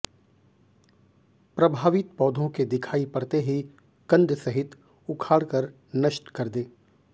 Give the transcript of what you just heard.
प्रभावित पौधों के दिखाई पड़ते ही कंद सहित उखाड़कर नष्ट कर दें